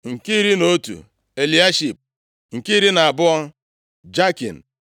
nke iri na otu, Eliashib nke iri na abụọ, Jakim